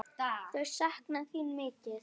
Þau sakna þín mikið.